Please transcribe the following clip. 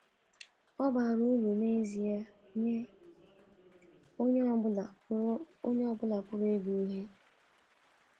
Ọ bara uru n’ezie nye onye ọ bụla pụrụ bụla pụrụ ịgụ ihe.